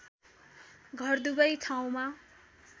घर दुवै ठाउँमा